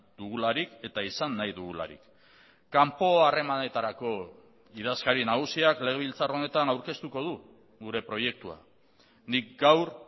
dugularik eta izan nahi dugularik kanpo harremanetarako idazkari nagusiak legebiltzar honetan aurkeztuko du gure proiektua nik gaur